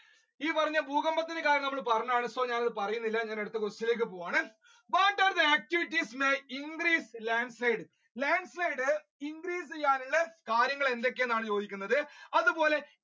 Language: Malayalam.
ഈ പറഞ്ഞ ഭൂകമ്പത്തിന്റെ കാരണം നമ്മൾ പറഞ്ഞതാണ് ഞാൻ അത് പറയുന്നില്ല question ലേക്ക് പോവുകയാണ് what are the activites that increased the landslide, landslide increase ചെയ്യാൻ ഉള്ള കാര്യങ്ങൾ എന്തൊക്കെയാണെന്നാണ് ചോദിച്ചിട്ടുള്ളത്